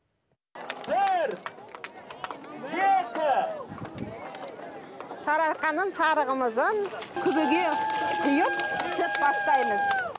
бір екі сарыарқаның сары қымызын күбіге құйып пісіп бастаймыз